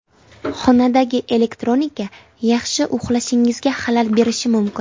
Xonadagi elektronika yaxshi uxlashingizga xalal berishi mumkin.